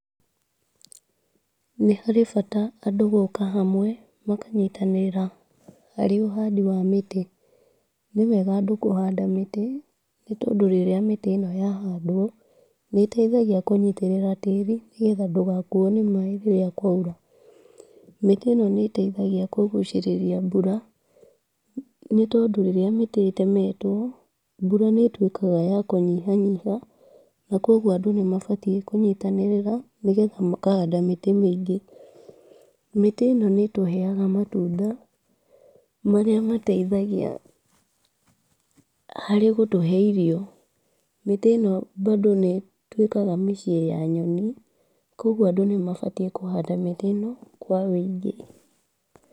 Nĩharĩ bata andũ gũka hamwe, makanyitanĩra harĩ ũhandi wa mĩtĩ, nĩwega andũ kũhanda mĩtĩ, nĩ tondũ rĩrĩa mĩtĩ ĩno yahandwo, nĩ ĩteithagia kũnyitĩrĩra tĩri nĩgetha ndũgakuo nĩ maaĩ rĩrĩa kwaura ,mĩtĩ ĩno nĩ ĩteithagia kũgũcĩrĩria mbura, nĩ tondũ rĩrĩa mĩtĩ ĩtemetwo mbura nĩ ĩtwĩkaga ya kũnyihanyiha na kugwo andũ nĩ mabatiĩ kũnyitanĩrĩra, nĩgetha makahanda mĩtĩ mĩingĩ, mĩtĩ ĩno nĩ ĩtũheaga matunda marĩa mateithagia harĩ gũtũhe irio, mĩtĩ ĩno bado nĩ ĩtwĩkaga mĩciĩ ya nyoni, kũgwo andũ nĩ mabatiĩ kũhanda mĩtĩ ĩno kwa wĩingĩ.